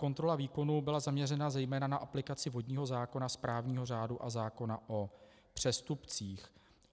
Kontrola výkonu byla zaměřena zejména na aplikaci vodního zákona, správního řádu a zákona o přestupcích.